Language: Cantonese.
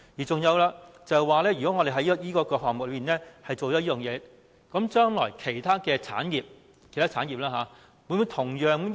再者，如果我們就這個項目落實有關措施，將來其他產業會否向政府提出同樣要求呢？